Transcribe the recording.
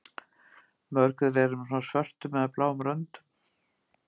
Mörg þeirra eru með svörtum eða bláum röndum.